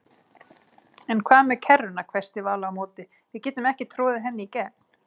En hvað með kerruna hvæsti Vala á móti, við getum ekki troðið henni í gegn